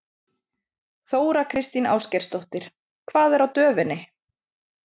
Þóra Kristín Ásgeirsdóttir: Hvað er á döfinni?